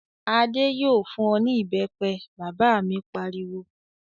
"Adé yóò fún ọ ní ìbẹ́pẹ!" Bàbá mi pariwo.